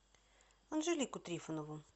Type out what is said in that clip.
анжелику трифонову